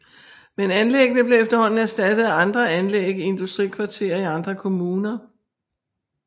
Men anlæggene blev efterhånden erstattet af andre anlæg i industrikvarterer i andre kommuner